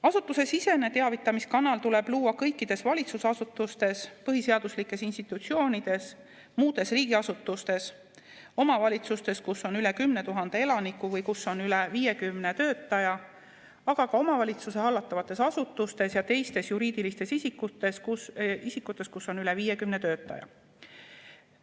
Asutusesisene teavitamiskanal tuleb luua kõikides valitsusasutustes, põhiseaduslikes institutsioonides, muudes riigiasutustes, omavalitsustes, kus on üle 10 000 elaniku või, kus on üle 50 töötaja, aga ka omavalitsuste hallatavates asutustes ja teistes juriidilistes isikutes, kus on üle 50 töötaja.